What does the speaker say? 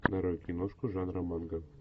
нарой киношку жанра манга